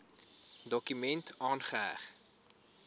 dokument aangeheg